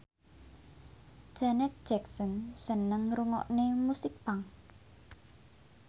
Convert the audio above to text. Janet Jackson seneng ngrungokne musik punk